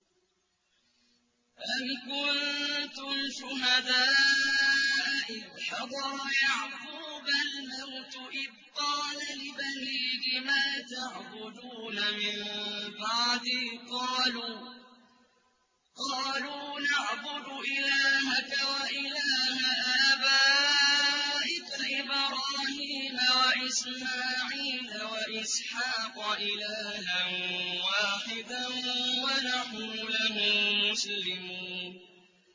أَمْ كُنتُمْ شُهَدَاءَ إِذْ حَضَرَ يَعْقُوبَ الْمَوْتُ إِذْ قَالَ لِبَنِيهِ مَا تَعْبُدُونَ مِن بَعْدِي قَالُوا نَعْبُدُ إِلَٰهَكَ وَإِلَٰهَ آبَائِكَ إِبْرَاهِيمَ وَإِسْمَاعِيلَ وَإِسْحَاقَ إِلَٰهًا وَاحِدًا وَنَحْنُ لَهُ مُسْلِمُونَ